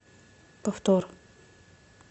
повтор